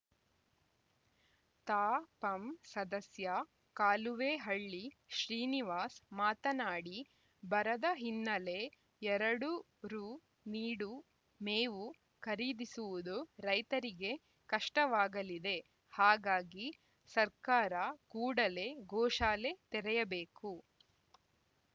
ತಾಪಂ ಸದಸ್ಯ ಕಾಲುವೇಹಳ್ಳಿ ಶ್ರೀನಿವಾಸ್‌ ಮಾತನಾಡಿ ಬರದ ಹಿನ್ನೆಲೆ ಎರಡು ರುನೀಡು ಮೇವು ಖರೀದಿಸುವುದು ರೈತರಿಗೆ ಕಷ್ಟವಾಗಲಿದೆ ಹಾಗಾಗಿ ಸರ್ಕಾರ ಕೂಡಲೇ ಗೋಶಾಲೆ ತೆರೆಯಬೇಕು